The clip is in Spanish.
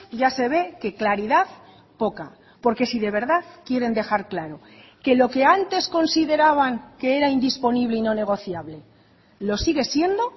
ya se ve que claridad poca porque si de verdad quieren dejar claro que lo que antes consideraban que era indisponible y no negociable lo sigue siendo